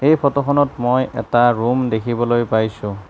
এই ফটোখনত মই এটা ৰুম দেখিবলৈ পাইছোঁ।